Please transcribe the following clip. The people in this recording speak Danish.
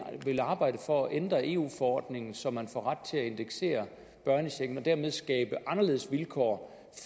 vil arbejde for at ændre eu forordningen så man får ret til at indeksere børnechecken og dermed skabe anderledes vilkår